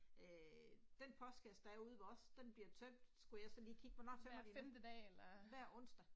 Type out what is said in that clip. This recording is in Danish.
Æh den postkasse der er ude ved os, den bliver tømt skulle jeg så lige kigge på, nå så må det, hver onsdag